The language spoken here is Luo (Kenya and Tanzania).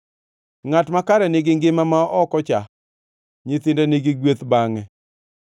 Ngʼat makare nigi ngima ma ok ocha; nyithinde nigi gweth bangʼe.